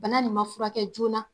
Bana nin furakɛ joona.